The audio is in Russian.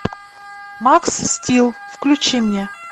макс стил включи мне